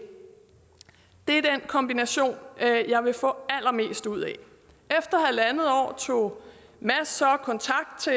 det er den kombination jeg vil få allermest ud af efter halvandet år tog mads så kontakt til